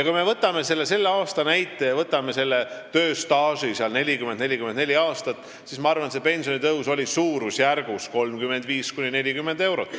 Kui me võtame selle aasta näite ja tööstaažiks 40–44 aastat, siis ma arvan, et pensionitõus oli 35–40 eurot.